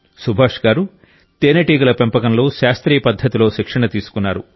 సుభాష్ గారు తేనెటీగల పెంపకంలో శాస్త్రీయ పద్ధతిలో శిక్షణ తీసుకున్నారు